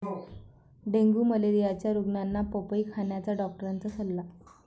dengue मलेरियाच्या रुग्णांना पपई खाण्याचा डॉक्टरांचा सल्ला